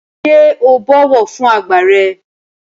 Ṣé o bọ̀wọ̀ fún àgbà rẹ?